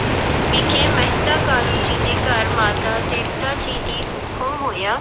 ਵਿਖੇ ਮਹਿਤਾ ਕਾਲੂ ਜੀ ਦੇ ਘਰ ਮਾਤਾ ਤ੍ਰਿਪਤਾ ਜੀ ਦੀ ਕੁੱਖੋਂ ਹੋਇਆ।